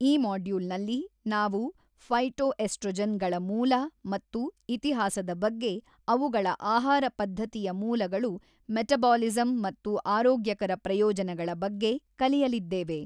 ಈ ಮಾಡ್ಯೂಲ್ನಲ್ಲಿ ನಾವು ಫೈಟೊಎಸ್ಟ್ರೊಜೆನ್ ಗಳ ಮೂಲ ಮತ್ತು ಇತಿಹಾಸದ ಬಗ್ಗೆ ಅವುಗಳ ಆಹಾರ ಪದ್ಧತಿಯ ಮೂಲಗಳು ಮೆಟಬಾಲಿಸಂ ಮತ್ತು ಆರೋಗ್ಯಕರ ಪ್ರಯೋಜನಗಳ ಬಗ್ಗೆ ಕಲಿಯಲಿದ್ದೇವೆ.